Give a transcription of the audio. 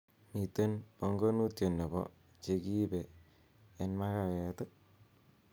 miten bongonutien nebo chegiibe en magawet ii